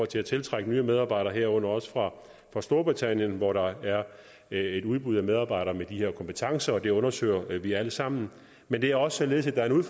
til at tiltrække nye medarbejdere herunder også fra storbritannien hvor der er et udbud af medarbejdere med de her kompetencer det undersøger vi alt sammen men det er også således at der er en